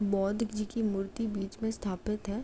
बौद्ध जी की मूर्ति बीच मे स्तापित है।